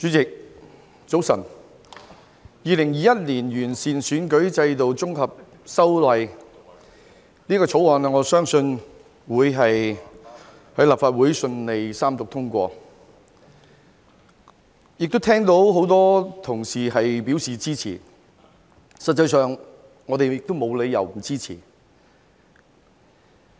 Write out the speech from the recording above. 我相信《2021年完善選舉制度條例草案》會在立法會順利三讀通過，我聽到很多同事表示支持，事實上，我們亦沒有理由不支持。